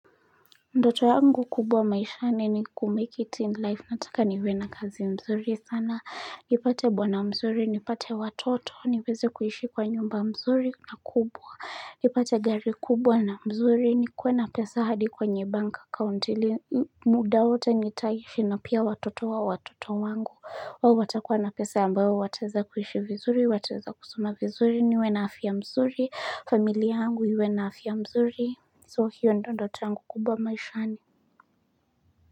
Ndoto yangu kubwa maishani ni kumake it in life, nataka niwe na kazi mzuri sana, nipate bwana mzuri, nipate watoto, niweze kuishi kwa nyumba mzuri na kubwa, nipate gari kubwa na mzuri, nikue na pesa hadi kwenye banki akaunti ili, muda wote nitaishi na pia watoto wa watoto wangu, hao watakuwa na pesa ambayo wataeza kuishi vizuri, wataeza kusoma vizuri, niwe na afya mzuri, familia angu iwe na afya mzuri. So hiyo ndo ndoto yangu kubwa maishani.